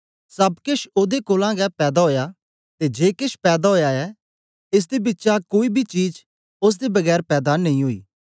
सब केश ओदे कोलां गै पैदा ओया ते जे केश पैदा ओया ऐ एस दे बिचा कोई बी चीज ओसदे बगैर पैदा नेई ओई